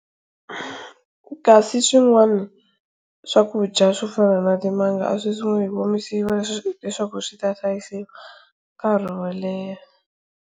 Kasi swin'wana swakudya swo fana na timanga, aswi sungula hi ku omisiwa leswaku swita hlayisiwa nkarhi woleha.